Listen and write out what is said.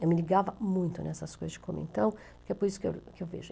Eu me ligava muito nessas coisas de comentão, é por isso que eu vejo.